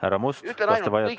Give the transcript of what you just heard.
Härra Must, kas te vajate lisaaega?